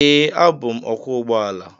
Ee, abụ m ọkwọ ụgbọ ala.